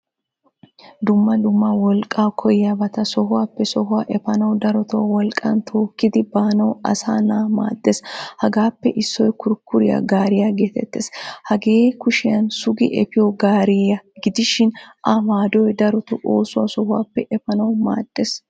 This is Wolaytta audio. Dumma dumma wolqqa koyiyabata sohuwaappe sohuwaa efanawu darotto wolqqan tokkidi baanawu assana maadess. Hagaappe issoy kurkuriyaa gaariyaa getetees. Hagee kushiyan sugi efiyo gaariyaa gidishin ayo maadoy darotto oosuwaa sohuwaappe efanawu maadees.